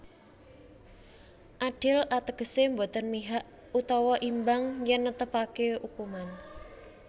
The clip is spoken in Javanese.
Adil ategese boten mihak utawa imbang yen netepake ukuman